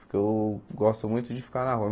Porque eu gosto muito de ficar na rua.